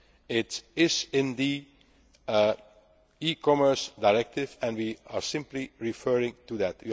concept. It is in the e Commerce Directive and we are simply referring